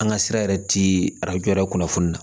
An ka sira yɛrɛ ti arajo yɛrɛ kunnafoni na